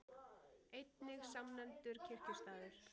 Einnig samnefndur kirkjustaður.